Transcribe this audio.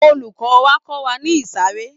Olùkọ wa kọ́ wa ní ìsàré.